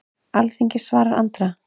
Alþingi svarar Andra